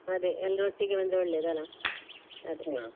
ಅದೆ ಎಲ್ರೂ ಒಟ್ಟಿಗೆ ಬಂದ್ರೆ ಒಳ್ಳೇದು ಅಲ್ಲ.